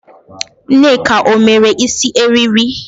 Nneka o mere isi eriri?